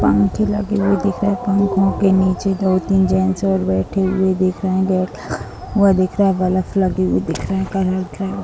पंखे लगे हुए दिख रहे हैं पंखो के नीचे दो-तीन जेंट्स और बैठे हुए दिख रहे हैं गेट लगा हुआ दिख रहा है बल्ब लगा हुआ दिख रहा है कलर किया हुआ --